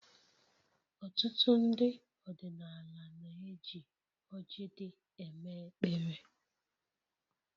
Ọtụtụ ndị ọdịnala na-eji ọrji dị eme-ekpere